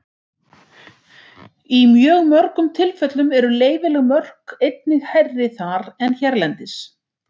Í mjög mörgum tilfellum eru leyfileg mörk einnig hærri þar en hérlendis.